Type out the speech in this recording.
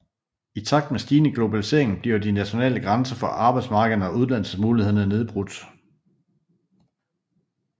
I takt med stigende globalisering bliver de nationale grænser for arbejdsmarkederne og uddannelsesmulighederne nedbrudt